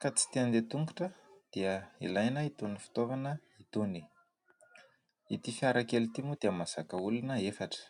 ka tsy tende tongotra dia ilaina hitony fotoavana hitony ity fiarakely timo dia mazaka olona efatra